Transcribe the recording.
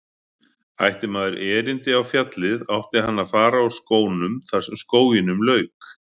Ætti maður erindi á fjallið átti hann að fara úr skónum þar sem skóginum lauk.